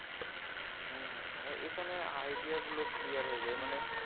হম এখানে idea গুলো clear হয়ে যায়। মানে